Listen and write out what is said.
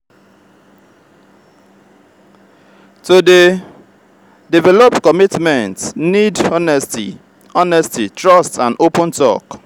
to dey develop commitment need honesty honesty trust and open talk.